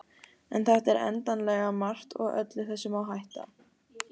en þetta er endanlega margt og öllu þessu má hætta